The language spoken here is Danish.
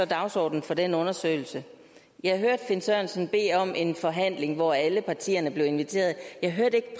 dagsordenen for den undersøgelse jeg hørte finn sørensen bede om en forhandling hvor alle partierne blev inviteret jeg hørte ikke